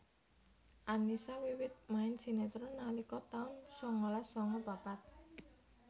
Annisa wiwit main sinetron nalika taun sangalas sanga papat